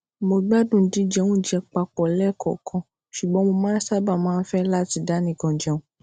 mo gbádùn jíjẹ oúnjẹ papò léèkòòkan ṣùgbọn mo sábà máa ń fé láti dánìkan jẹun